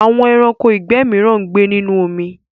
Àwọn ẹranko ìgbẹ́ mìíràn ń gbé nínú omi.